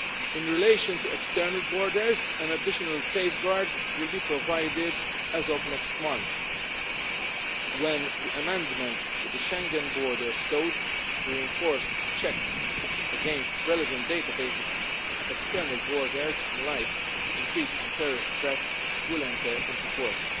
In relation to external borders, an additional safeguard will be provided as of next month, when the amendment to the Schengen Borders Code to reinforce checks against relevant databases at external borders in light of the increased terrorist threats will enter into force.